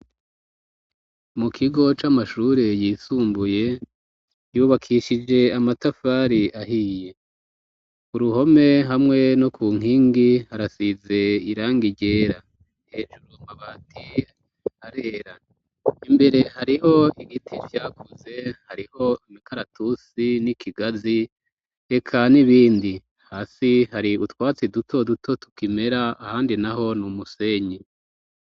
Mu kigo c'amashure yisumbuye yubakishije amatafari ahiye uruhome hamwe no ku nkingi harasize irang igera hejuru mabati arera imbere hariho igiti vyakuze hariho imikaratusi n'ikigazi reka n'ibindi hasi hari utwatsi duto duto tukimera ahandi naho n'umusenyi.